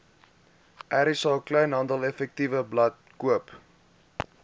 rsa kleinhandeleffektewebblad koop